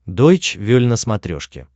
дойч вель на смотрешке